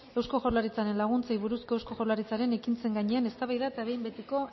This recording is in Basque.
eusko jaurlaritzaren laguntzei buruzko eusko jaurlaritzaren ekintzen gainean eztabaida eta behin betiko